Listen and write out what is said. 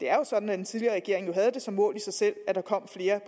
er sådan at den tidligere regering havde som mål i sig selv at der kom flere